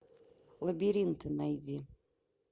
лабиринты найди